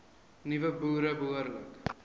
nuwe boere behoorlik